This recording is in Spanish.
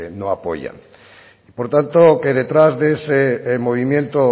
no apoyan y por tanto que detrás de ese movimiento